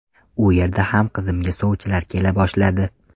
U yerda ham qizimga sovchilar kela boshladi.